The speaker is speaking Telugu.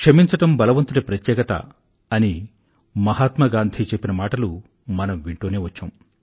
క్షమించడం బలవంతుడి ప్రత్యేకత అని మహాత్మా గాంధీ చెప్పిన మాటలు మనం వింటూనే వచ్చాం